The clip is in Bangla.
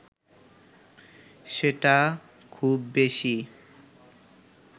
সেটা খুব বেশি